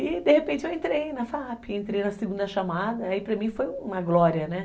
E de repente eu entrei na fa a pe, entrei na segunda chamada, aí para mim foi uma glória, né?